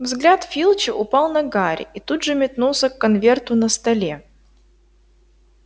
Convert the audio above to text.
взгляд филча упал на гарри и тут же метнулся к конверту на столе